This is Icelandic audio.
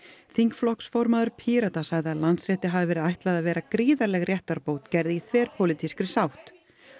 þingflokksformaður Pírata sagði að Landsrétti hafi verið ætlað að vera gríðarleg réttarbót gerð í þverpólitískri sátt